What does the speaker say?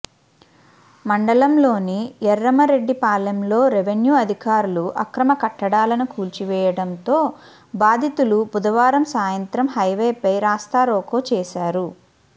మండలంలోని ఎర్రమరెడ్డిపాళెంలో రెవెన్యూ అధికారులు అక్రమ కట్టడాలను కూల్చివేయడంతో బాధితులు బుధవారం సాయంత్రం హైవేపై రాస్తారోకో చేశారు